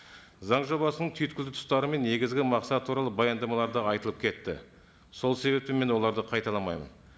заң жобасының түйткілді тұстары мен негізгі мақсаты туралы баяндамаларда айтылып кетті сол себептен мен оларды қайталамаймын